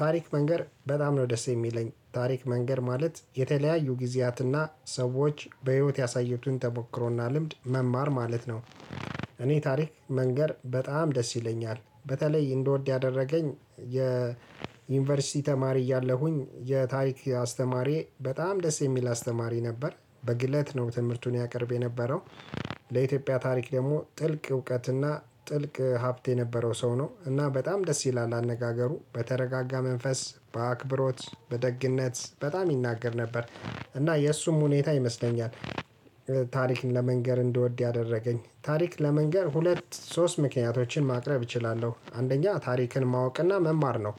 ታሪክ መንገር በጣም ነው ደስ የሚለኝ ታሪክ መንገር ማለት የተለያዩ ጊዚያትና ሰዎች በሂወት ያሳየቱን ተሞክሮና ልምድ መማር ማለት ነው። እኔ ታሪክ መንገር በጣም ደስ ይለኛል በተለይ እንድወድ ያደረገኝ የዩንቨርሲቲ ተማሪ እያለሁኝ የታሪክ አስተማሪ በጣም ደስ የሚል አስተማሪ ነበር በግለት ነው ትምህርቱን ያቀረበ የነበረው። ለኢትዮጵያ ታሪክ ደሞ ጥልቅ እውቀትና ጥልቅ ሀብት የነበረው ሰው ነው እና በጣም ደስ ይላል አነጋገሩ በተረጋጋ መንፈስ በአክብሮት በደግነት በጣም ይናገር ነበር። እና የእሱም ሁኔታ ይመስለኛል። ታሪክን ለመንገር እንድወድ ያደረገኝ ታሪክ ለመንገር ሁለት ሶስት ምክንያቶችን ማቅረብ እችላለሁ። አንደኛ ታሪክን ማወቅና መማር ነው።